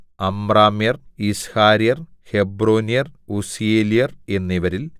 അമ്രാമ്യർ യിസ്ഹാര്യർ ഹെബ്രോന്യർ ഉസ്സീയേല്യർ എന്നവരിൽ